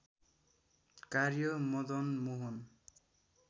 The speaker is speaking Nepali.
कार्य मदन मोहन